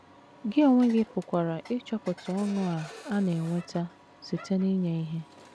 Gị onwe gị pụkwara ịchọpụta ọṅụ a a na - enweta site n’inye ihe.